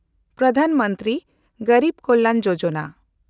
ᱯᱨᱚᱫᱷᱟᱱ ᱢᱚᱱᱛᱨᱤ ᱜᱮᱱᱰᱤᱵᱽ ᱠᱚᱞᱭᱟᱱ ᱭᱳᱡᱚᱱᱟ